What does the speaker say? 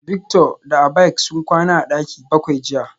Victor da Abike sun kwana a daki bakwai jiya